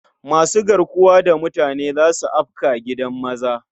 Masu garkuwa da mutane za su afka gidan maza.